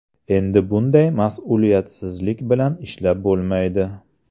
Endi bunday mas’uliyatsizlik bilan ishlab bo‘lmaydi.